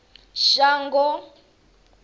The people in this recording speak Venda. shango